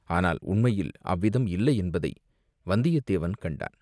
ஆனால் உண்மையில் அவ்விதம் இல்லையென்பதை வந்தியத்தேவன் கண்டான்.